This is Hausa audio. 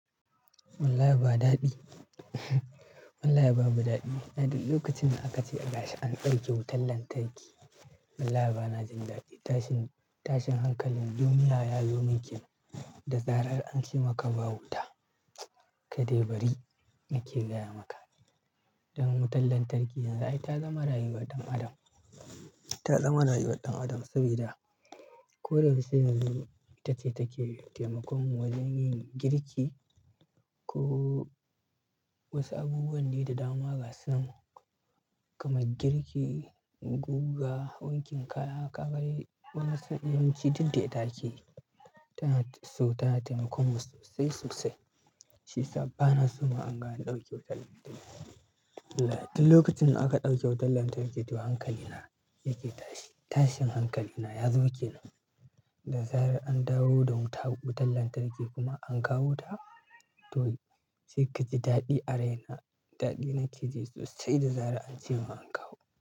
Wallahi ba daɗi, wallahi babu daɗi. Na duk lokacin da aka ce a gashi an ɗauke wutar lantarki, wallahi bana jin daɗi. Tashin hankalin duniya ya zomin kenan da zarar an ce maka ba wuta, ka dai bari muke gaya maka. Don wutar lantarki yanzu ai ta zama rayuwar ɗan adam. Ta zama rayuwar ɗan adam sabida ko da yaushe na duk ita ce take taimakon mu wajen yin girki ko wasu abubuwan ne da dama ga sunan kamar girki, guga, wankin kaya, kagane wani sa'in yawanci duk da ita akeyi. Ta na so tana taimakon mu sosai sosai. Shiyasa ba naso ma naga ga an ɗauke wutar lantarki. Wallahi duk lokacin da aka ɗauke wutar lantarki toh hankali na yake tashi. Tashin hankali na yazo kenan, da zarar an dawo da wuta, wutar lantarki kuma an kawo ta to sai kaji daɗi a raina. Daɗi nake ji sosai da zarar an ce mun an kawo ta.